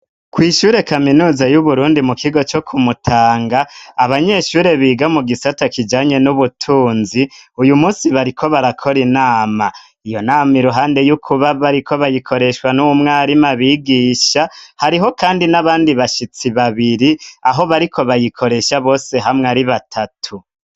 Kwishure kaminuza y'uburundi mu kigo co kumutanga abanyeshure biga mu gisata kijanye n'ubutunzi uyu munsi bariko barakora inama iyo nama iruhande y'ukuba bariko bayikoreshwa n'umwarimu abigisha hariho kandi n'abandi bashitsi babiri aho bariko bayikoresha bose hamwe ari batatu.